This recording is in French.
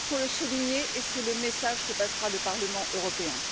Il faut le souligner et c'est le message que passera le Parlement européen.